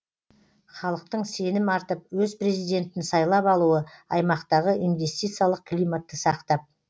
халықтың сенім артып өз президентін сайлап алуы аймақтағы инвестициялық климатты сақтап